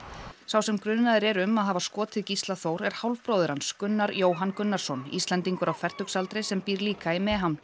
sá sem grunaður er um að hafa skotið Gísla Þór er hálfbróðir hans Gunnar Jóhann Gunnarsson Íslendingur á fertugsaldri sem býr líka í